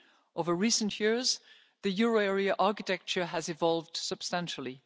Over recent years, the euro area's architecture has evolved substantially.